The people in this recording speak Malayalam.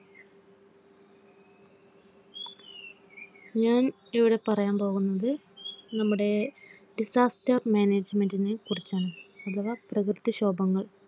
ഞാൻ ഇവിടെ പറയാൻ പോകുന്നത്നമ്മുടെ Disaster Management നെ കുറിച്ചാണ് അഥവാ പ്രകൃതിക്ഷോഭങ്ങൾ